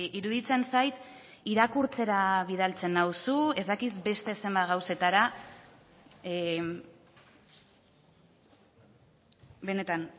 iruditzen zait irakurtzera bidaltzen nauzu ez dakit beste zenbat gauzetara benetan